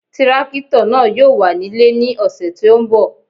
Tírákítọ̀ náà yóò wà nílẹ̀ ní ọ̀sẹ̀ tí ó ń bọ̀